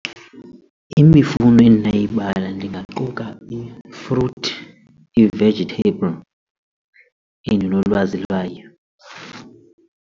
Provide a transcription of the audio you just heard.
Imifuno endinayibalula ndingaquka i-fruit, i-vegetable endinolwazi lwayo.